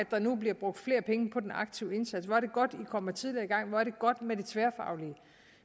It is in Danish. der nu bliver brugt flere penge på den aktive indsats hvor er det godt i kommer tidligere i gang hvor er det godt med det tværfaglige